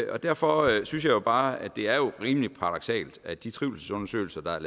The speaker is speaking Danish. derfor synes jeg bare at det er rimelig paradoksalt at de trivselsundersøgelser der er